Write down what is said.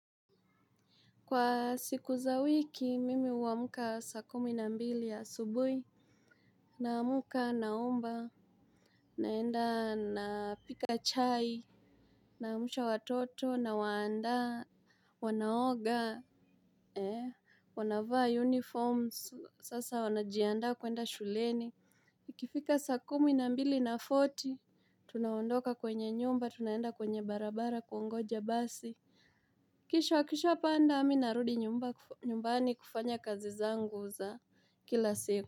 Kwa siku za wiki mimi huamka saa kumi na mbili asubuhi naamka naomba, naenda napika chai, naamsha watoto, nawaandaa, wanaoga. Wanavaa uniform, sasa wanajiandaa kuenda shuleni. Ikifika saa kumi na mbili na fourty, tunaondoka kwenye nyumba tunaenda kwenye barabara kuongoja basi. Kisha akishapanda mi narudi nyumba nyumbani kufanya kazi zangu za kila siku.